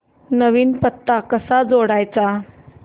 नवीन पत्ता कसा जोडायचा